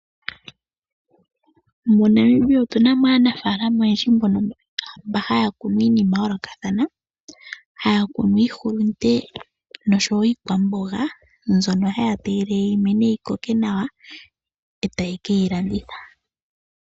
MoNamibia otuna mo aanafaalama oyendji mbono, mba haya kunu iinima yayoolokathana, haya kunu iihulunde nosho wo iikwamboga mbyono haya tegelele yimene yikoke nawa eta yekeyi landitha.